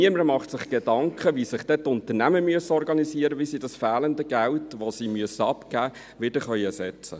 Niemand macht sich Gedanken dazu, wie sich dann die Unternehmen organisieren müssen, wie sie dieses fehlende Geld ersetzen können.